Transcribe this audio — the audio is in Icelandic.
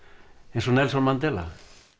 eins og Nelson Mandela